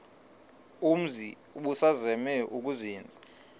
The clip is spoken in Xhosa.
umzi ubusazema ukuzinza